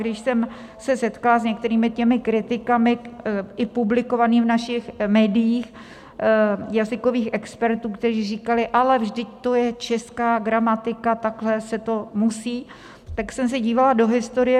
Když jsem se setkala s některými těmi kritikami, i publikovaných v našich médiích, jazykových expertů, kteří říkali: Ale vždyť to je česká gramatika, takhle se to musí, tak jsem se dívala do historie.